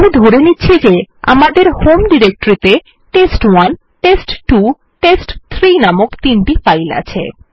আমি ধরে নিচ্ছি যে যে আমাদের হোম ডিরেক্টরিতে টেস্ট1 টেস্ট2 টেস্ট3 নামক তিনটি ফাইল আছে